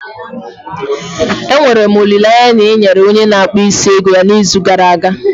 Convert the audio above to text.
Enwere m olileanya na ị yere onye na akpu isi ego ya n'izu gara aga?